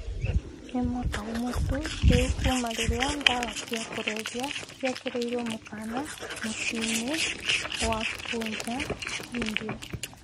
Nĩ mwaka ũmwe tu rĩu kuuma rĩrĩa ndawa cia kũrebia ciekĩrĩirwo mũkana mũciĩ-inĩ wa Punjab, India